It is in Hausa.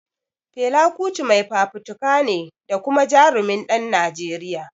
Fela Kuti mai fafutuka ne da kuma Jarumin ɗan Najeriya